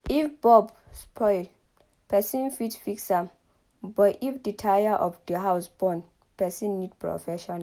if bulb spoil person fit fix am but if the wire of house burn person need professional